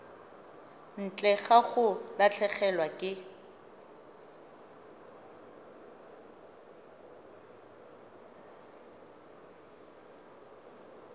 ntle ga go latlhegelwa ke